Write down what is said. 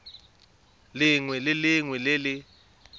lengwe le lengwe le le